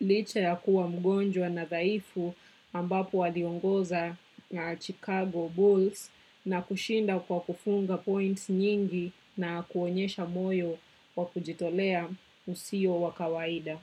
licha yakuwa mgonjwa na dhaifu ambapo waliongoza na Chicago Bulls na kushinda kwa kufunga points nyingi na kuonyesha moyo wa kujitolea usio wa kawaida.